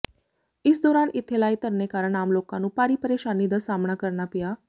ਇਸ ਦੌਰਾਨ ਇਥੇ ਲਾਏ ਧਰਨੇ ਕਾਰਨ ਆਮ ਲੋਕਾਂ ਨੂੰ ਭਾਰੀ ਪ੍ਰੇਸ਼ਾਨੀ ਦਾ ਸਾਹਮਣਾ ਕਰਨਾ ਪਿਆ